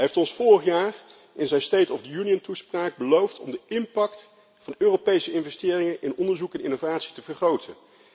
Hij heeft ons vorig jaar in zijn State of the Union toespraak beloofd om de impact van Europese investeringen in onderzoek en innovatie te vergroten.